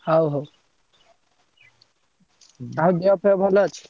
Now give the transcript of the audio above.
ହଉ ହଉ ଆଉ ଦେହ ପେହ ଭଲ ଅଛି?